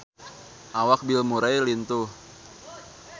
Awak Bill Murray lintuh